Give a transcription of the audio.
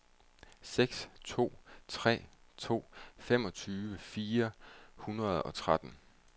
seks to tre to femogtyve fire hundrede og tretten